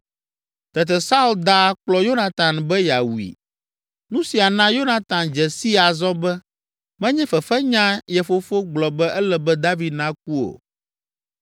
Tete Saul da akplɔ Yonatan be yeawui. Nu sia na Yonatan dze sii azɔ be menye fefenya ye fofo gblɔ be ele be David naku o.